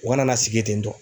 O kana na sigi yen ten tɔ.